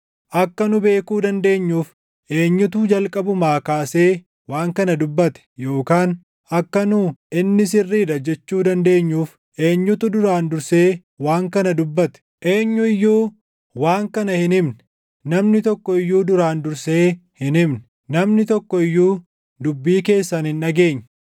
Akka nu beekuu dandeenyuuf eenyutu jalqabumaa kaasee waan kana dubbate? Yookaan akka nu, ‘Inni sirrii dha’ jechuu dandeenyuuf eenyutu duraan dursee waan kana dubbate? Eenyu iyyuu waan kana hin himne; namni tokko iyyuu duraan dursee hin himne; namni tokko iyyuu dubbii keessan hin dhageenye.